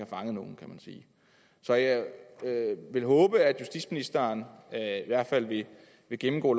fanget nogen kan man sige jeg vil håbe at justitsministeren i hvert fald vil gennemgå